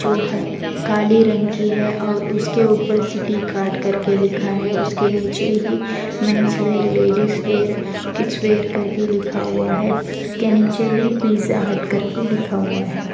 जो ह आ काले रंग की है और उसके ऊपर सिटी कार्ट करके लिखा है उसके नीचे ही men's wear ladies wear kids wear करके लिखा हुआ है उसके नीचे ही पिज्जा हर्ट करके हीं लिखा हुआ है।